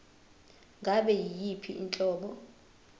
ngabe yiyiphi inhlobo